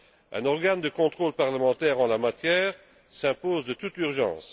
Un organe de contrôle parlementaire en la matière s'impose de toute urgence.